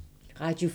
Radio 4